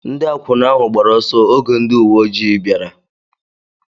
Ndị akwụna ahụ gbara ọsọ oge ndị uwe ojii bịara.